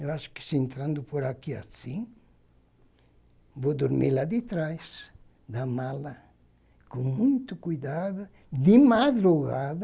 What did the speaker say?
Eu acho que se entrando por aqui assim, vou dormir lá detrás da mala, com muito cuidado, de madrugada,